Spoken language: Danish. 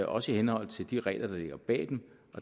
også i henhold til de regler der ligger bag dem